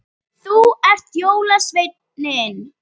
Þú ert jólasveinninn